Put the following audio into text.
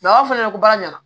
a b'a fɔ ne ɲɛna ko baara ɲɛna